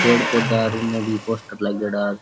पेड़ पैधा और उनने भी पोस्टर लागेड़ा।